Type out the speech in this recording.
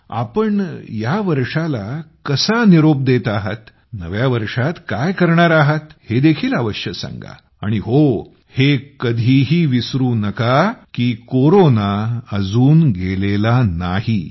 तुम्ही यावर्षाला कसा निरोप देत आहात नव्या वर्षात काय करणार आहात हे देखील अवश्य सांगा आणि हो हे कधीही विसरू नका की कोरोना अजून गेलेला नाही